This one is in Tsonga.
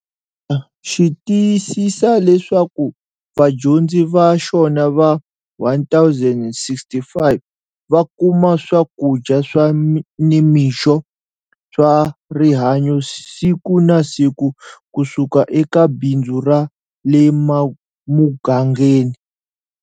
Xi tiyisisa leswaku vadyondzi va xona va 1 065 va kuma swakudya swa nimixo swa rihanyo siku na siku kusuka eka bindzu ra le mugangeni.